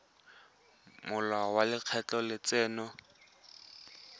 molao wa lekgetho wa letseno